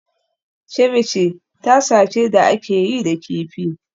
Ceviche tasa ce da aka yi da kifi